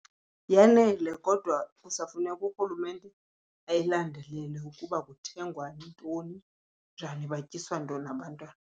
Yanele kodwa kusafuneka urhulumente ayilandelele ukuba kuthengwa ntoni njani, batyiswa ntoni abantwana.